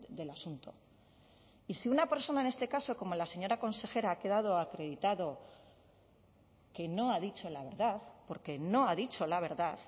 del asunto y si una persona en este caso como la señora consejera ha quedado acreditado que no ha dicho la verdad porque no ha dicho la verdad